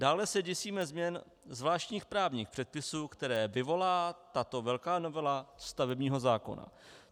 Dále se děsíme změn zvláštních právních předpisů, které vyvolá tato velká novela stavebního zákona.